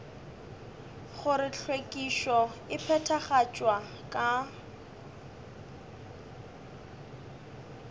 gore hlwekišo e phethagatšwa ka